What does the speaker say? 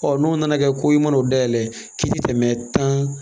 Ɔ n'o nana kɛ ko i mana o dayɛlɛ k'i ti tɛmɛ tan